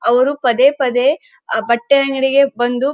ಅವರು ಪದೇ ಪದೇ ಬಟ್ಟೆ ಅಂಗಡಿಗೆ ಬಂದು --